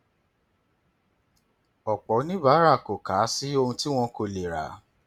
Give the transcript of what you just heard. ọpọ oníbàárà kò kà á sí ohun tí wọn kò lè rà